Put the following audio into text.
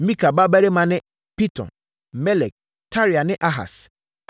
Mika mmammarima ne: Piton, Melek, Tarea ne Ahas.